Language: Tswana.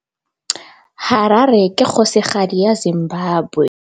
Harare ke kgosigadi ya Zimbabwe.